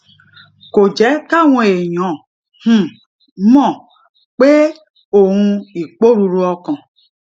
kò jé káwọn èèyàn um mò pé òun iporuru okan